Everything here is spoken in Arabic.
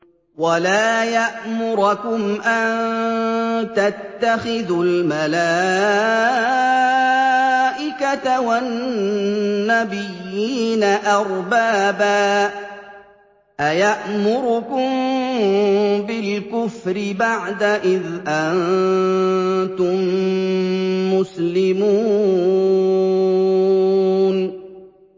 وَلَا يَأْمُرَكُمْ أَن تَتَّخِذُوا الْمَلَائِكَةَ وَالنَّبِيِّينَ أَرْبَابًا ۗ أَيَأْمُرُكُم بِالْكُفْرِ بَعْدَ إِذْ أَنتُم مُّسْلِمُونَ